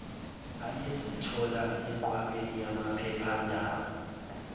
ayezithola enqwabeni yamaphephandaba